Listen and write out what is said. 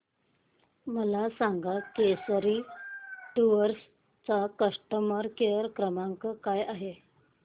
मला सांगा केसरी टूअर्स चा कस्टमर केअर क्रमांक काय आहे